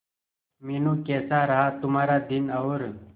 मीनू कैसा रहा तुम्हारा दिन और